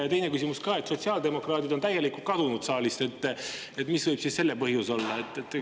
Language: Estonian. Ja teine küsimus ka: sotsiaaldemokraadid on täielikult kadunud saalist, mis selle põhjus võib olla?